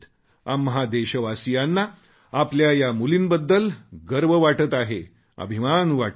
आम्हा देशवासीयांना आपल्या या मुलींबद्दल गर्व वाटत आहे अभिमान वाटत आहे